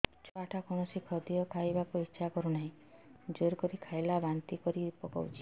ଛୁଆ ଟା କୌଣସି ଖଦୀୟ ଖାଇବାକୁ ଈଛା କରୁନାହିଁ ଜୋର କରି ଖାଇଲା ବାନ୍ତି କରି ପକଉଛି